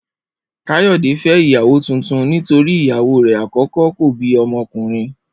Kayode fé̩ ìyàwó tuntun nítorí ìyàwó rè̩ àkó̩kó̩ kò bí o̩mo̩kùnrin